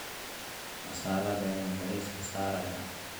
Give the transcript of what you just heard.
Masaalada ayaan bariiska saarayaa.